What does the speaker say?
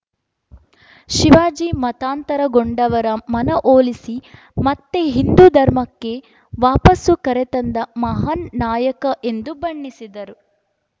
ಶಿವಾಜಿ ಮತಾಂತರಗೊಂಡವರ ಮನವೊಲಿಸಿ ಮತ್ತೆ ಹಿಂದೂ ಧರ್ಮಕ್ಕೆ ವಾಪಸು ಕರೆತಂದ ಮಹಾನ್‌ ನಾಯಕ ಎಂದು ಬಣ್ಣಿಸಿದರು